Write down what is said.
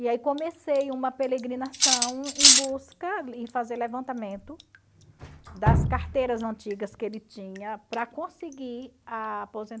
E aí comecei uma em busca e fazer levantamento das carteiras antigas que ele tinha para conseguir a